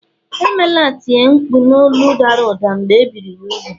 emela tie mkpu n’olu dara ụda mgbe e biri ya úgwù